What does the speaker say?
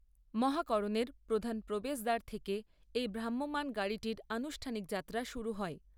মহাকরণের প্রধান প্রবেশদ্বার থেকে এই ভ্রাম্যমান গাড়িটির আনুষ্ঠানিক যাত্রা শুরু হয়।